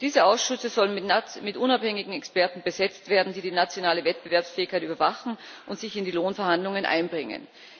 Diese Ausschüsse sollen mit unabhängigen Experten besetzt werden, die die nationale Wettbewerbsfähigkeit überwachen und sich in die Lohnverhandlungen einbringen.